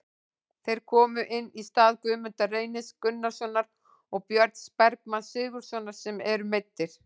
Þeir komu inn í stað Guðmundar Reynis Gunnarssonar og Björns Bergmanns Sigurðarsonar sem eru meiddir.